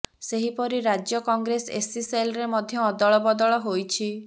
ସେହିପରି ରାଜ୍ୟ କଂଗ୍ରେସ ଏସ୍ସି ସେଲ୍ରେ ମଧ୍ୟ ଅଦଳ ବଦଳ ହୋଇଛି